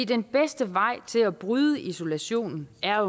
den bedste vej til at bryde isolationen er